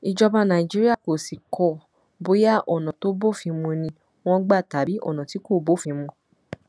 ìjọba nàìjíríà kò sì kọ bóyá ọnà tó bófin mu ni wọn gbà tàbí ọnà tí kò bófin mu